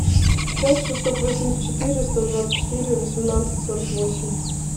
пять шестьсот восемьдесят четыре сто двадцать четыре восемнадцать сорок восемь